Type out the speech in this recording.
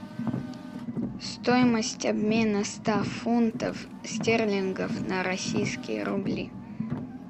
стоимость обмена ста фунтов стерлингов на российские рубли